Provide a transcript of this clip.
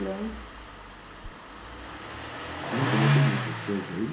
grãos.ocê já comeu todas essas coisas aí?